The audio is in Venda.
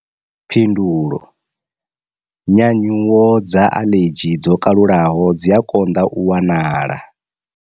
Phindulo. Nyanyuwo dza aḽedzhi dzo kalulaho dzi a konḓa u wanala.